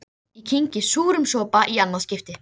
Ég sé enn eftir því síðar nefnda.